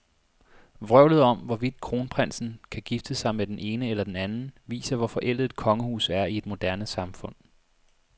Vrøvlet om, hvorvidt kronprinsen kan gifte sig med den ene eller den anden, viser, hvor forældet et kongehus er i et moderne samfund.